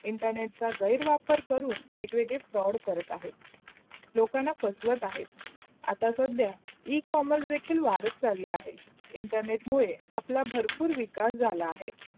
internet चा गैर वापर करून वग-वेग्दे fraud करत आहेत, लोकांना फसवत आहेत. आता सद्या e-formal देखील वाढत चालला आहेत. internet मुदे अप्लाया भरपूर विकास झाला अहे.